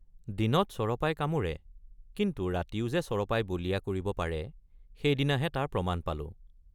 দিনত চৰপাই কামোৰে কিন্তু ৰাতিও যে চৰপাই বলিয়া কৰিব পাৰে সেইদিনাহে তাৰ প্ৰমাণ পালোঁ।